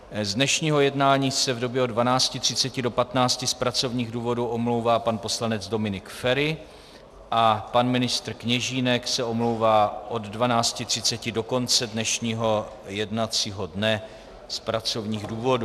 Z dnešního jednání se v době od 12.30 do 15.00 z pracovních důvodů omlouvá pan poslanec Dominik Feri a pan ministr Kněžínek se omlouvá od 12.30 do konce dnešního jednacího dne z pracovních důvodů.